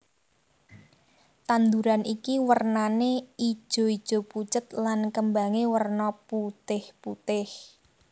Tanduran iki wernané ijoijo pucet lan kembangé werna putihPutih